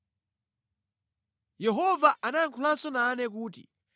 Yehova anayankhulanso nane kuti,